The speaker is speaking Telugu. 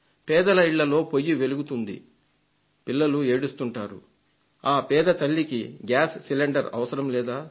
పేదల ఇళ్లలో పొయ్యి వెలుగుతుంది పిల్లలు ఏడుస్తుంటారు ఆ పేద తల్లికి గ్యాస్ సిలిండర్ అవసరం లేదా